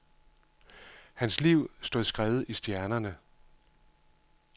Hans liv stod skrevet i stjernerne.